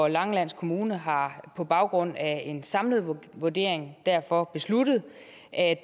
langeland kommune har på baggrund af en samlet vurdering derfor besluttet at